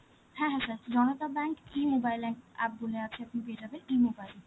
হ্যাঁ হ্যাঁ sir, Janata bank E-mobile ap~ app বলে আছে, আপনি পেয়ে যাবেন E-mobile.